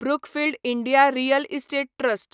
Brookfield India real estate trust